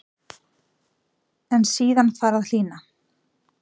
En síðan fari að hlýna.